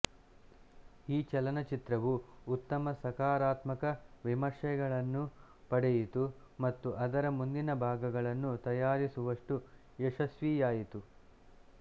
ಈ ಚಲನಚಿತ್ರವು ಉತ್ತಮ ಸಕಾರಾತ್ಮಕ ವಿಮರ್ಶೆಗಳನ್ನು ಪಡೆಯಿತು ಮತ್ತು ಅದರ ಮುಂದಿನ ಭಾಗಳನ್ನು ತಯಾರಿಸುವಷ್ಟು ಯಶಸ್ವಿಯಾಯಿತು